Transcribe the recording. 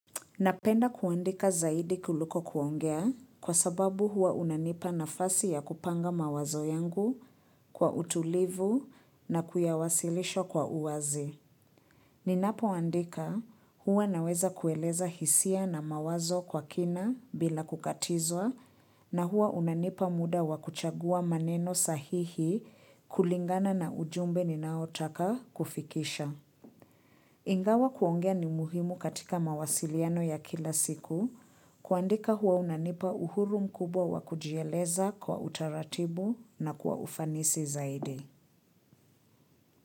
Napenda kuandika zaidi kuliko kuongea kwa sababu hua unanipa nafasi ya kupanga mawazo yangu kwa utulivu na kuyawasilisha kwa uwazi. Ninapoandika hua naweza kueleza hisia na mawazo kwa kina bila kukatizwa na hua unanipa muda wa kuchagua maneno sahihi kulingana na ujumbe ninaotaka kufikisha. Ingawa kuongea ni muhimu katika mawasiliano ya kila siku kuandika huwa unanipa uhuru mkubwa wa kujieleza kwa utaratibu na kwa ufanisi zaidi.